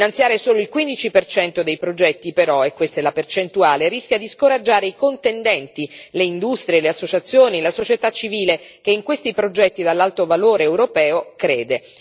Finanziare solo il 15 dei progetti, però e questa è la percentuale rischia di scoraggiare i contendenti le industrie, le associazioni, la società civile, che in questi progetti, dall'alto valore europeo, crede.